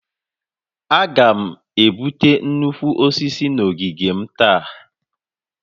Aga m egbutu nnukwu osisi a n'ogige m taa